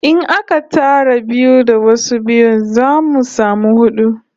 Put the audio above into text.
In aka tara biyu da wasu biyun, za'a samu hudu